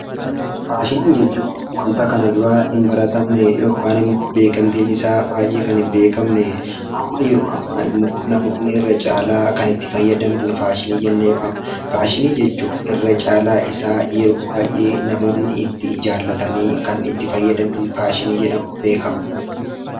Faashinii jechuun wanta kana dura hin baratamne yookiin immoo beekamtiin isaa baay'ee kan hin beekamne, amma yeroo ammaa immoo namoonni irra caalaa kan itti fayyadaman faashinii jennee waamna. Akkasumas, irra caalaa isaa namoonni yeroo baay'ee jaallatanii itti fayyadaman faashinii jedhamuun beekama.